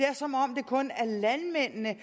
er som om det kun er landmændene